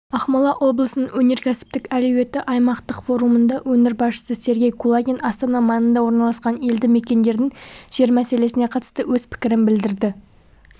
ақмола облысының өнеркәсіптік әлеуеті аймақтық форумында өңір басшысы сергей кулагин астана маңында орналасқан елді мекендердегі жер мәселесіне қатысты өз пікірін білдірді